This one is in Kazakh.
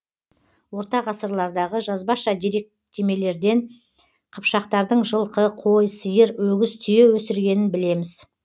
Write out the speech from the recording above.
орта ғасырлардағы жазбаша деректемелерден қыпшақтардың жылқы қой сиыр өгіз түйе өсіргенін білеміз